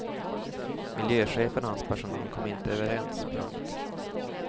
Miljöchefen och hans personal kom inte överens. punkt